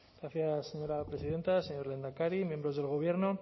gracias señora presidenta señor lehendakari miembros del gobierno